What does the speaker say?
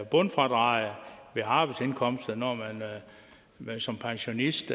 bundfradraget ved arbejdsindkomster når man som pensionist